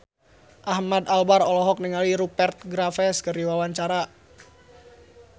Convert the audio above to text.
Ahmad Albar olohok ningali Rupert Graves keur diwawancara